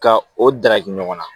Ka o daraki ɲɔgɔn na